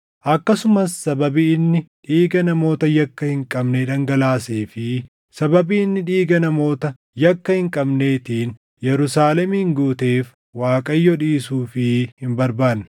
akkasumas sababii inni dhiiga namoota yakka hin qabnee dhangalaasee fi sababii inni dhiiga namoota yakka hin qabneetiin Yerusaalemin guuteef Waaqayyo dhiisuufii hin barbaanne.